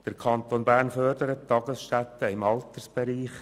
Der Kanton Bern fördert Tagesstätten im Altersbereich.